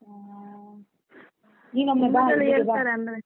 ಹೂಂ, ನೀನೊಮ್ಮೆ ಬಾ .